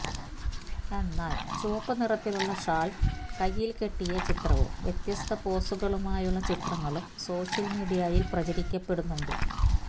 എന്നാല് ചുവപ്പു നിറത്തിലുള്ള ഷാള് കൈയ്യില് കെട്ടിയ ചിത്രവും വ്യത്യസ്ത പോസുകളുമായുള്ള ചിത്രങ്ങളും സോഷ്യല് മീഡിയയില് പ്രചരിക്കപ്പെടുന്നുണ്ട്